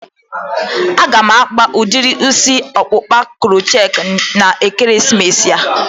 A ga m akpa udiri isi ọkpụkpa crochetti na ekeresimesi a